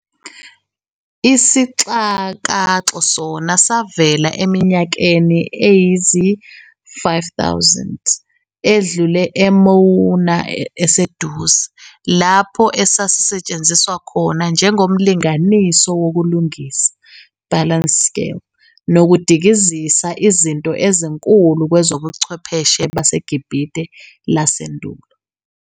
Isixakaxo sona savela eminyakeni eyizi-5,000 edlule eMouma eseDuze, lapho esasisetshenziswa khona njengomlinganiso wokulunganisa, balance scale", nokudikizisa Izinto ezinkulu kwezobuchwepheshe baseGibhithe lasendulo.